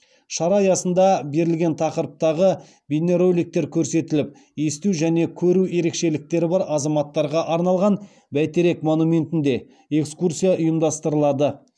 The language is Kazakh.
шара аясында берілген тақырыптағы бейнероликтер көрсетіліп есту және көру ерекшеліктері бар азаматтарға арналған бәйтерек монументінде экскурсия ұйымдастырылады